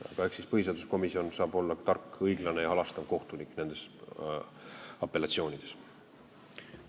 Aga eks põhiseaduskomisjon saab olla tark, õiglane ja halastav kohtunik apellatsioonide korral.